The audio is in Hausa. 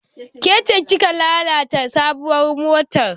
Ke ce kika lalata sabuwar motar?